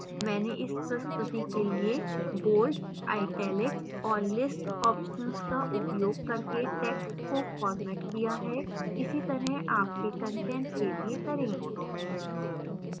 मैंने इस प्रस्तुति के लिए bold italics और list options का उपयोग करके टैक्स्ट को formatted किया है इसी तरह आपके कंटेंट के लिए करें